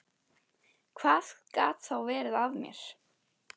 Hvað gat þá verið að mér?